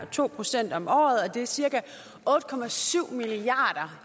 to procent om året det er cirka otte milliard